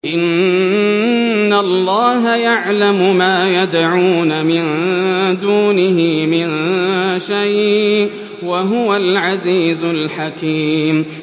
إِنَّ اللَّهَ يَعْلَمُ مَا يَدْعُونَ مِن دُونِهِ مِن شَيْءٍ ۚ وَهُوَ الْعَزِيزُ الْحَكِيمُ